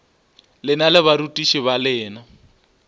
lena le barutiši ba lena